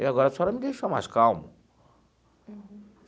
E agora a senhora me deixou mais calmo.